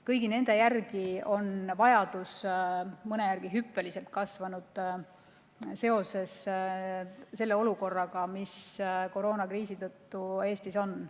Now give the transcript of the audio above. Kõigi nende teenuste järele on vajadus kasvanud, mõne järele hüppeliselt, seoses selle olukorraga, mis koroonakriisi tõttu Eestis on.